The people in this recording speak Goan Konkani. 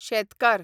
शेतकार